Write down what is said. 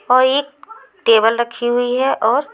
औ ये टेबल रखी हुई है और--